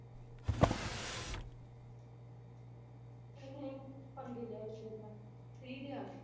ਇਵੇਂ ਹੀ ਪੰਗੇ ਲੈ ਲਏ ਮੇਰੇ ਨਾਲ free ਦੇ ਆਕੇ